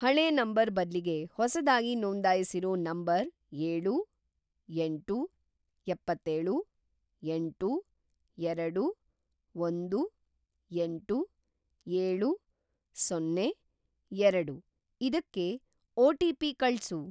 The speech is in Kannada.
ಹಳೇ ನಂಬರ್‌ ಬದ್ಲಿಗೆ ಹೊಸದಾಗಿ ನೋಂದಾಯಿಸಿರೋ ನಂಬರ್‌ ಎಳು, ಎಂಟು, ಎಪ್ಪತ್ತೇಳು, ಎಂಟು, ಎರಡು, ಒಂದು, ಎಂಟು, ಏಳು, ಸೊನ್ನೆ, ಎರಡು ಇದಕ್ಕೆ ಒ.ಟಿ.ಪಿ. ಕಳ್ಸು.